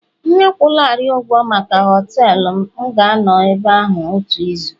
M akwụlarị ụgwọ maka họtelu, m ga-anọ ebe ahụ otu izu